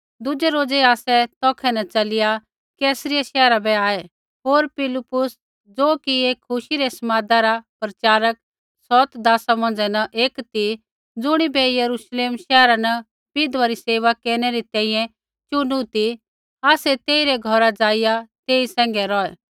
दुज़ै रोज़ै आसै तौखै न च़लिया कैसरिया शैहरा बै आऐ होर फिलिप्पुस ज़ो कि एक खुशी रै समादा रा प्रचारक सौत दासा मौंझ़ै न एक ती ज़ुणिबै यरूश्लेम शैहरा न विधवा री सेवा केरनै री तैंईंयैं चुनु ती आसै तेइरै घौरा ज़ाइआ तेई सैंघै रौहै